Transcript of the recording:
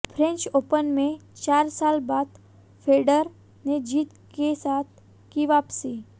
French Open में चार साल बाद फेडरर ने जीत के साथ की वापसी